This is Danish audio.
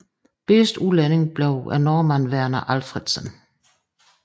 Bedste udlænding bliver nordmanden Verner Alfredsen